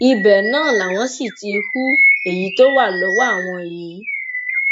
ibẹ náà làwọn sì ti hu èyí tó wà lọwọ àwọn yìí